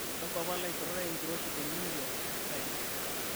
kakua pala ishoritae enkiroshi te new york times